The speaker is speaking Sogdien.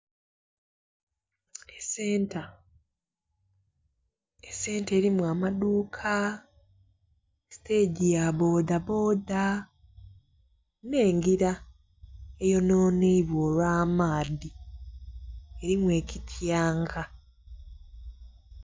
Esenta, esenta erimu amaduuka, sitegi ya bboda bboda, n'engira eyonhonheibwa olw'amaadhi. Erimu ekityanka.